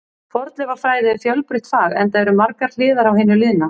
Fornleifafræði er fjölbreytt fag, enda eru margar hliðar á hinu liðna.